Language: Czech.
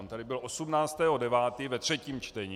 On tady byl 18. 9. ve třetím čtení.